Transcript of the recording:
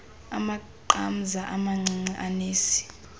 amaqamza amancinci anesi